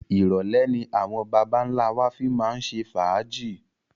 Irọ̀lẹ́ ni àwọn baba ńlá wa fi máa ń ṣe fàájì